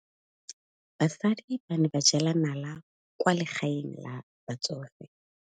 Basadi ba ne ba jela nala kwaa legaeng la batsofe.